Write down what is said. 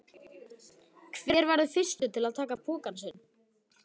Hver verður fyrstur til að taka pokann sinn?